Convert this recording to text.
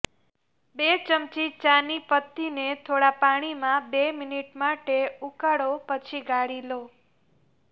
બે ચમચી ચાની પત્તીને થોડા પાણીમાં બે મિનિટ માટે ઉકાળો પછી ગાળી લો